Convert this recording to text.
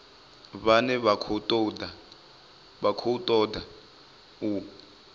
vhane vha khou ṱoḓa u